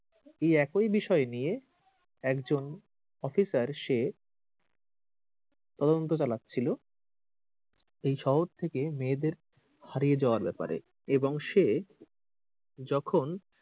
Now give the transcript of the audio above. এই একই বিষয় নিয়ে একজন অফিসার সে তদন্ত চালাচ্ছিল এই শহর থেকে মেয়েদের হারিয়ে যাবার ব্যাপারে এবং সে যখন